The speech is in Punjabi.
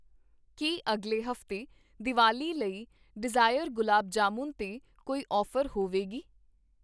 ਕੀ ਅਗਲੇ ਹਫ਼ਤੇ ਦੀਵਾਲੀ ਲਈ ਡਿਜ਼ਾਇਰ ਗੁਲਾਬ ਜਾਮੁਨ 'ਤੇ ਕੋਈ ਔਫ਼ਰ ਹੋਵੇਗੀ?